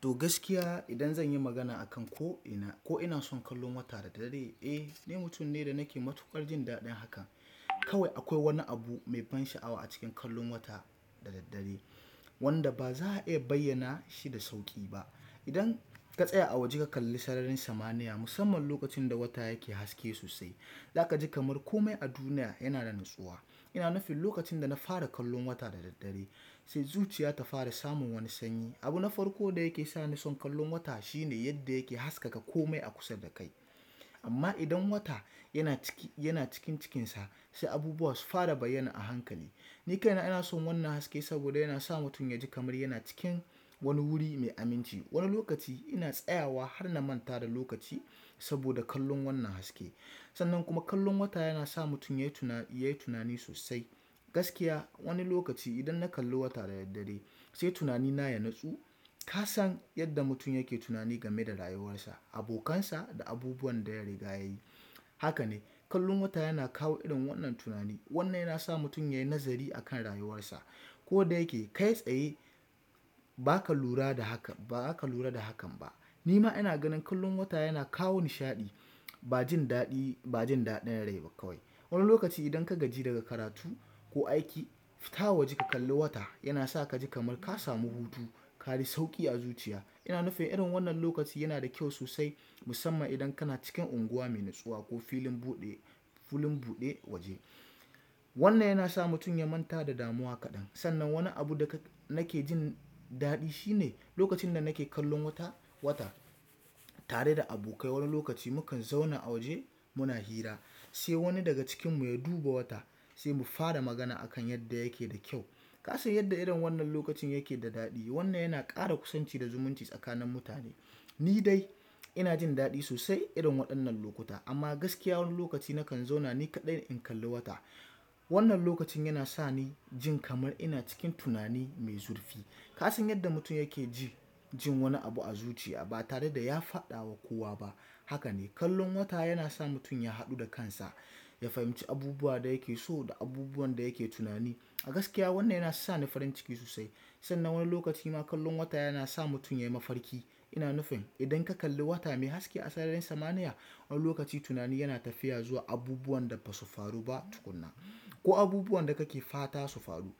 To gaskiya idan zan yi magana akan ko ina, ko ina son kallon wata da daddare? Eh, ni mutum ne da nake matuƙar jin daɗin haka. Kawai akwai wani abu mai ban sha'awa a cikin kallon wata da daddare wanda ba za a iya bayyana shi da sauƙi ba. Idan ka tsaya a waje ka kalli sararin samaniya musamman lokacin da wata yake haske sosai, za ka ji kamar kome a duniya yana da natsuwa. Ina nufin lokacin da na fara kallon wata da daddare sai zuciya ta fara samun wani sanyi. Abu na farko da yake sa ni son kallon wata shine yadda yake haskaka kome a kusa da kai. Amma idan wata yana cikin cikinsa sai abubuwa su fara bayyana a hankali. Ni kaina ina son wannan haske saboda yana sa mutum ya ji kamar yana cikin wani wuri mai aminci. Wani lokaci ina tsayawa har na manta da lokaci saboda kallon wannan haske. Sannan kuma kallon wata yana sa mutum yayi tunani sosai. Gaskiya wani lokaci idan na kalli wata da daddare sai tunanina ya natsu. Ka san yadda mutum yake tunani game da rayuwarsa, abokansa da abubuwan da ya riga ya yi. Haka ne, kallon wata yana kawo irin wannan tunani. Wannan yana sa mutum yayi nazari a kan rayuwarsa. Ko da yake kai tsaye ba ka lura da hakan ba zaka lura da hakan ba. Ni ma ina ganin kallon wata yana kawo nishaɗi, ba jin daɗi, ba jin daɗin rai ba kawai. Wani lokaci idan ka gaji daga karatu ko aiki, fita waje ka kalli wata yana sa ka ji kamar ka samu hutu, ka ji sauƙi a zuciya. Ina nufin irin wannan lokaci yana da kyau sosai musamman idan kana cikin unguwa mai natsuwa ko filin buɗe, filin buɗe waje. Wannan yana sa mutum ya manta da damuwa kaɗan. Sannan wani abu da nake jin daɗi shine lokacin da nake kallon wata, wata tare da abokai. Wani lokaci mukan zauna a waje muna hira sai wani daga cikinmu ya duba wata sai mu fara magana akan yadda yake da kyau. Ka san yadda irin wannan lokacin yake da daɗi. Wannan yana ƙara kusanci da zumunci tsakanin mutane. Ni dai ina jin daɗi sosai irin waɗannan lokuta. Amma gaskiya wani lokaci nakan zauna ni kaɗai in kalli wata. Wannan lokacin yana sa ni jin kamar ina cikin tunani mai zurfi. Ka san yadda mutum yake ji jin wani abu a zuciya ba tare da ya faɗa wa kowa ba. Haka ne, kallon wata yana sa mutum ya haɗu da kansa, ya fahimci abubuwan da yake so da abubuwan da yake tunani. A gaskiya wannan yana sa ni farin ciki sosai. Sannan wani lokaci ma kallon wata yana sa mutum yayi mafarki. Ina nufin idan ka kalli wata mai haske a sararin samaniya wani lokaci tunani yana tafiya zuwa abubuwan da basu faru ba tukunna ko abubuwan da kake fata su faru.